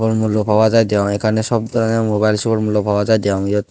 umulloko hajai degong ekkan ei sob e mobile sur mulluko hajai degong iyot.